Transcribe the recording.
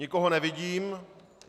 Nikoho nevidím.